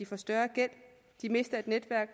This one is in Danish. få større gæld de mister et netværk